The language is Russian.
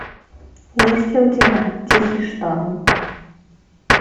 есть ли у тебя тихий шторм